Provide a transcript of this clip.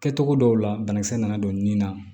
Kɛcogo dɔw la banakisɛ nana don nin na